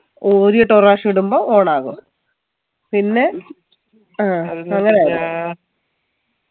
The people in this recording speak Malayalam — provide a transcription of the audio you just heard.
ഊരിയിട്ട് ഒരു റാശം ഇടുമ്പോ on ആകും പിന്നെ